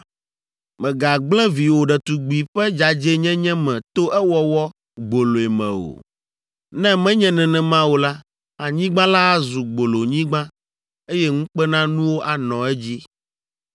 “ ‘Mègagblẽ viwò ɖetugbi ƒe dzadzɛnyenye me to ewɔwɔ gboloe me o. Ne menye nenema o la, anyigba la azu gbolonyigba, eye ŋukpenanuwo anɔ edzi.